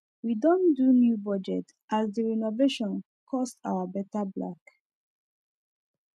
we don do new budget as the renovation cost our better black